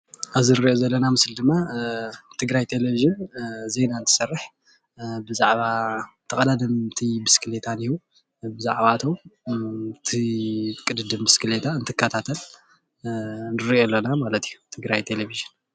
ኣብዚ እንሪኦ ዘለና ምስሊ ድማ ትግራይ ቴለቭዥን ዜና እንትሰርሕ ብዛዕባ ተቀዳደምቲ ብሽኬሌታ ድዩ ብዛዕባ እቲ ቅድድም ብስኬሌታ ትከታተል ንርኢ ኣለና ማለት እዩ ትግራይ ቴሌቭዥን።